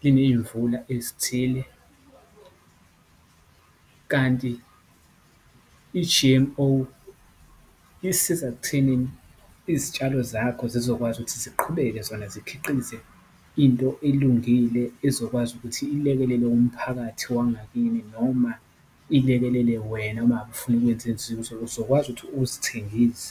kuney'mvula ezithile , kanti i-G_M_O isiza ekuthenini Izitshalo zakho zizokwazi ukuthi ziqhubeke zona zikhiqize into elungile ezokwazi ukuthi ilekelele umphakathi wangakini. Noma ilekelele wena uma ngabe ufuna ukwenza izinzuzo, uzokwazi ukuthi uzithengise.